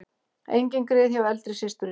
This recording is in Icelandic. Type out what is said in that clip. Engin grið hjá eldri systurinni